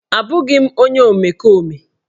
Abụghị m onye omekome